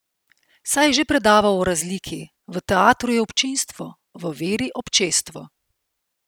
Saj je že predaval o razliki, v teatru je občinstvo, v veri občestvo.